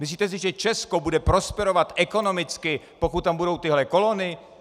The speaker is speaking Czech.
Myslíte si, že Česko bude prosperovat ekonomicky, pokud tam budou tyhle kolony?